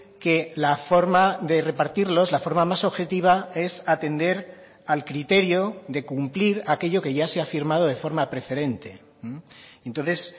que la forma de repartirlos la forma más objetiva es atender al criterio de cumplir aquello que ya se ha firmado de forma preferente entonces